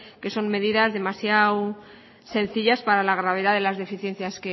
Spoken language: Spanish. que son medidas demasiado sencillas para la gravedad de las deficiencias